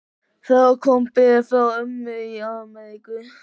Það kom bréf frá ömmu í Ameríku.